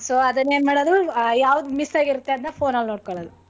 So ಅದನ್ನ್ ಏನ್ ಮಾಡೋದು ಆ ಯಾವ್ದ್ miss ಹಾಗಿರುತ್ತೋ ಅದನ್ನ phone ನಲ್ಲಿ ನೋಡ್ಕೊಳೋದ್ದು.